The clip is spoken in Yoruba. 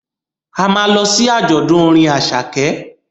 A ma lọ sí àjọ̀dún orin Àṣàkẹ́